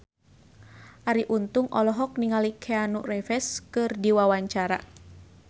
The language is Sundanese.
Arie Untung olohok ningali Keanu Reeves keur diwawancara